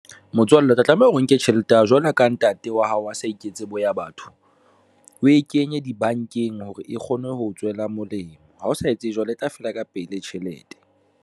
Motswalle o tla tlameha o nke tjhelete ya hao jwalo ka ntate wa hao a sa iketse boya batho o e kenye dibankeng hore e kgone ho tswela molemo ha o sa etse jwalo, e tla fela ka pele tjhelete.